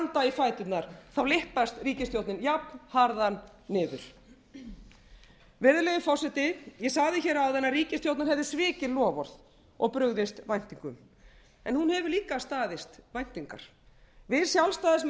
fæturna lyppast ríkisstjórnin jafnharðan niður virðulegi forseti ég sagði hér áðan að ríkisstjórnin hefði svikið loforð og brugðist væntingum en hún hefur líka staðist væntingar við sjálfstæðismenn